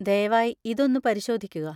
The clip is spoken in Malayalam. ദയവായി ഇത് ഒന്ന് പരിശോധിക്കുക.